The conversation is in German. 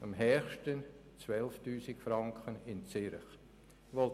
Im Kanton mit dem höchsten Lohn, in Zürich, waren es 12 000 Franken.